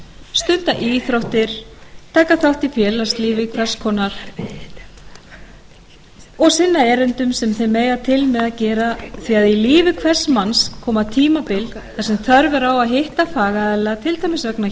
stunda íþróttir taka þátt í félagslífi hvers konar og sinna erindum sem þeir mega til með að gera því að í lífi hvers manns koma tímabil þar sem þörf er á að hitta fagaðila til dæmis vegna